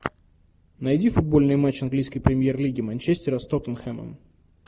найди футбольный матч английской премьер лиги манчестера с тоттенхэмом